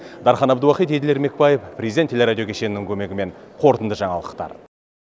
дархан әбдуахит еділ ермекбаев президент телерадио кешенінің көмегімен қорытынды жаңалықтар